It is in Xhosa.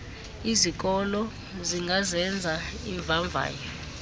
izikolo zingazenza iimvavanyo